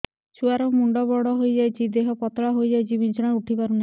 ଛୁଆ ର ମୁଣ୍ଡ ବଡ ହୋଇଯାଉଛି ଦେହ ପତଳା ହୋଇଯାଉଛି ବିଛଣାରୁ ଉଠି ପାରୁନାହିଁ